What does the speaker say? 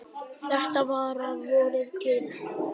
Þetta var að vori til.